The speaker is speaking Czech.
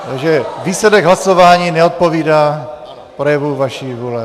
Takže výsledek hlasování neodpovídá projevu vaší vůle.